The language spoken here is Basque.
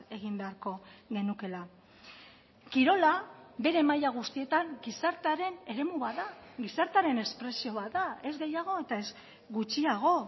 egin beharko genukeela kirola bere maila guztietan gizartearen eremu bat da gizartearen espresio bat da ez gehiago eta ez gutxiago